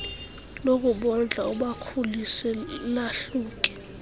lokubondla ubakhulise lahluke